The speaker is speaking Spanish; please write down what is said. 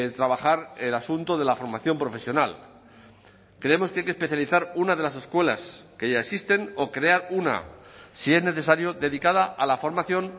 trabajar el asunto de la formación profesional creemos que hay que especializar una de las escuelas que ya existen o crear una si es necesario dedicada a la formación